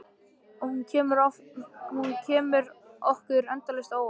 Og hún kemur okkur endalaust á óvart.